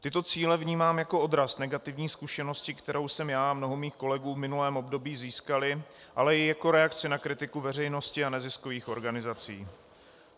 Tyto cíle vnímám jako odraz negativní zkušenosti, kterou jsme já a mnoho mých kolegů v minulém období získali, ale i jako reakci na kritiku veřejnosti a neziskových organizací.